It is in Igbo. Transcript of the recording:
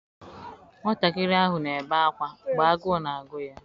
Nwatakịrị ahụ na-ebe akwa maka agụụ na-agụ ya.